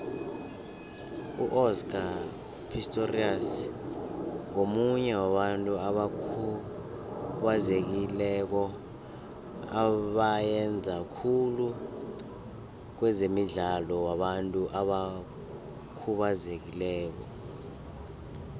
uoscar pistorius ngomunye wabantu abakhubazekileko abayenza khuhle kwezemidlalo wabantu abakhubazekileko